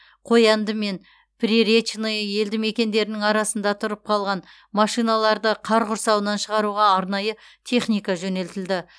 қоянды мен приречное елді мекендерінің арасында тұрып қалған машиналарды қар құрсауынан шығаруға арнайы техника жөнелтілді